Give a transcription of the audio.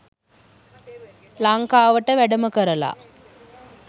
ලංකාවට වැඩම කරල